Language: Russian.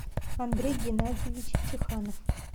андрей геннадьевич чеханов